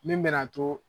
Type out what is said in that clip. Min bɛ na to